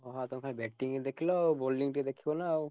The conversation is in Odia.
ଓହୋ ଆଉ ତମେ batting ଦେଖିଲ ଆଉ bowling ଟିକେ ଦେଖିବ ନା ଆଉ।